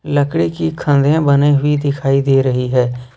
लकड़ी की खाने बनी हुई दिखाई दे रही है।